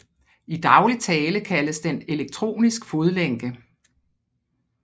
I daglig tale kaldes den elektronisk fodlænke